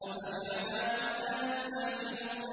أَفَبِعَذَابِنَا يَسْتَعْجِلُونَ